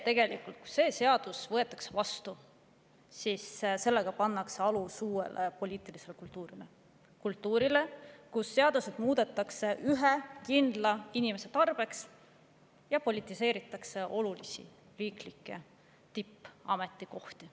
Tegelikult sellega, et see seadus võetakse vastu, pannakse alus uuele poliitilisele kultuurile – kultuurile, kus seaduseid muudetakse ühe kindla inimese tarbeks ja politiseeritakse olulisi riiklikke tippametikohti.